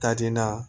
Ka di n na